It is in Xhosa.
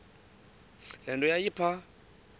le nto yayipha